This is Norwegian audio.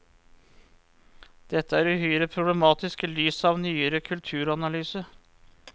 Dette er uhyre problematisk i lys av nyere kulturanalyse.